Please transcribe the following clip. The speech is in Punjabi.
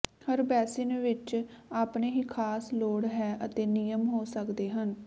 ਹਰ ਬੇਸਿਨ ਵਿੱਚ ਆਪਣੇ ਹੀ ਖਾਸ ਲੋੜ ਹੈ ਅਤੇ ਨਿਯਮ ਹੋ ਸਕਦੇ ਹਨ